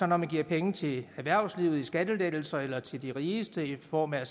man giver penge til erhvervslivet i skattelettelser eller til de rigeste i form af at